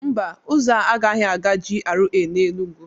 Mba, ụzọ a agaghị aga GRA na Enugwu.